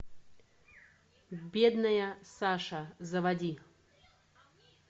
бедная саша заводи